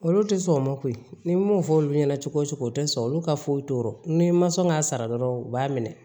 Olu tɛ sɔn o ma koyi ni n m'o fɔ olu ɲɛna cogo o cogo o tɛ sɔn olu ka foyi t'o rɔ ni n ma sɔn k'a sara dɔrɔn u b'a minɛ